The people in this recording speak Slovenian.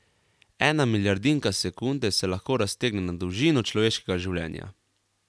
Ena milijardinka sekunde se lahko raztegne na dolžino človeškega življenja.